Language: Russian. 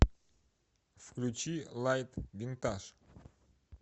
включи лайт винтаж